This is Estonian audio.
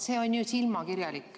See on ju silmakirjalik.